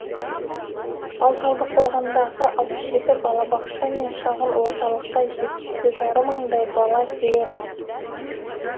ал талдықорғандағы алпыс жеті балабақша мен шағын орталыққа жеті жарым мыңдай бала келеді